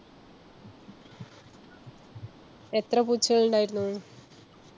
എത്ര പൂച്ചകൾ ഉണ്ടായിരുന്നു?